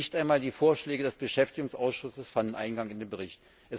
Nicht einmal die Vorschläge des Beschäftigungsausschusses fanden Eingang in den Bericht.